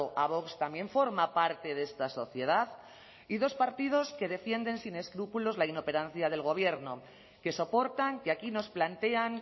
a vox también forma parte de esta sociedad y dos partidos que defienden sin escrúpulos la inoperancia del gobierno que soportan que aquí nos plantean